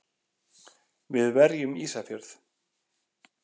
Við verjum Ísafjörð!